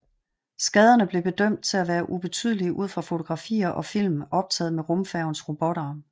Skaderne blev bedømt til at være ubetydelige ud fra fotografier og film optaget med rumfærgens robotarm